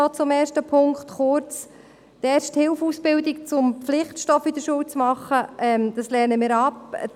Kurz zum ersten Punkt: Die Erste-Hilfe-Ausbildung zum Pflichtstoff in der Schule zu machen, lehnen wir ab.